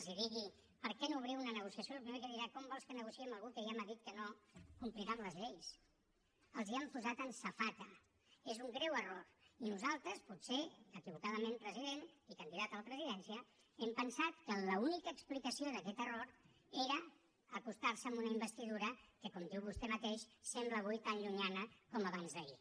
els digui per què no obriu una negociació el primer que dirà com vols que negociï amb algú que ja m’ha dit que no complirà amb les lleis els ho han posat en safata és un greu error i nosaltres potser equivocadament president i candidat a la presidència hem pensat que l’única explicació d’aquest error era acostarse a una investidura que com diu vostè mateix sembla avui tan llunyana com abansd’ahir